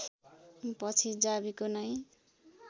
पछि जावीको नै